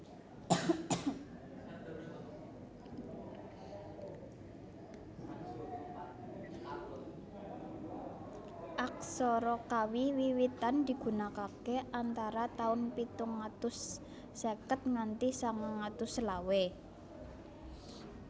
Aksara Kawi Wiwitan digunakaké antara taun pitung atus seket nganti sangang atus selawe